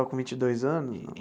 Com vinte e dois anos não?